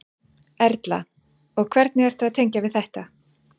Erla: Og hvernig ertu að tengja við þetta?